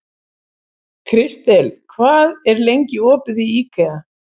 Krister, hvað er lengi opið í IKEA?